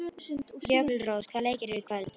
Jökulrós, hvaða leikir eru í kvöld?